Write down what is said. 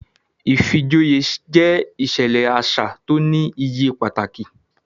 Ìfijoyé jẹ iṣẹlẹ aṣa ti o ni iye pataki